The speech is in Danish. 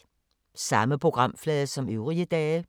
Samme programflade som øvrige dage